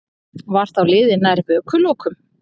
Var þá liðið nær vökulokum.